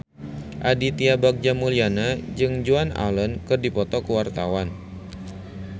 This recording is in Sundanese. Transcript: Aditya Bagja Mulyana jeung Joan Allen keur dipoto ku wartawan